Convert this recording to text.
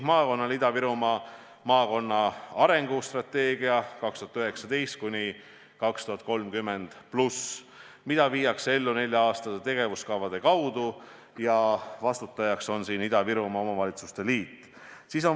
Maakonnal on olemas "Ida-Virumaa maakonna arengustrateegia 2019–2030+", seda viiakse ellu nelja-aastaste tegevuskavade kaudu ja vastutajaks on Ida-Virumaa Omavalitsuste Liit.